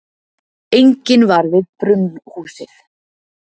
Enginn var við brunnhúsið.